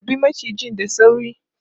Harbe macijin da sauri!